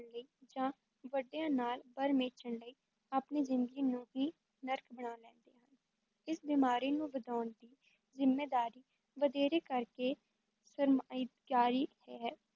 ਲਈ ਜਾਂ ਵੱਡਿਆਂ ਨਾਲ ਬਰ ਮੇਚਣ ਲਈ ਆਪਣੀ ਜ਼ਿੰਦਗੀ ਨੂੰ ਹੀ ਨਰਕ ਬਣਾ ਲੈਂਦੇ ਹਨ, ਇਸ ਬੀਮਾਰੀ ਨੂੰ ਵਧਾਉਣ ਦੀ ਜ਼ਿੰਮੇਦਾਰੀ ਵਧੇਰੇ ਕਰ ਕੇ ਸਰਮਾਏਦਾਰੀ ਹੀ ਹੈ,